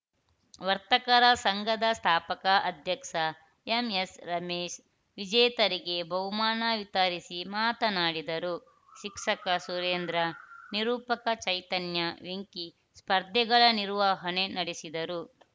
ವರ್ತಕರ ಸಂಘದ ಸ್ಥಾಪಕ ಅಧ್ಯಕ್ಷ ಎಂಎಸ್‌ರಮೇಶ್‌ ವಿಜೇತರಿಗೆ ಬಹುಮಾನ ವಿತರಿಸಿ ಮಾತನಾಡಿದರು ಶಿಕ್ಷಕ ಸುರೇಂದ್ರ ನಿರೂಪಕ ಚೈತನ್ಯ ವೆಂಕಿ ಸ್ಪರ್ಧೆಗಳ ನಿರ್ವಹಣೆ ನಡೆಸಿದರು